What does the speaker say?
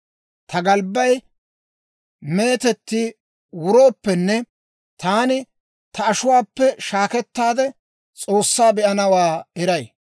Ta galbbay meetetti wurooppenne, taani ta ashuwaappe shaakkettaade, S'oossaa be'anawaa eray.